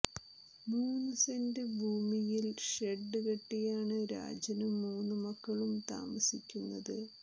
മൂന്നു സെൻ്റ് ഭൂമിയിൽ ഷെഡ് കെട്ടിയാണ് രാജനും മൂന്ന് മക്കളും താമസിക്കുന്നത്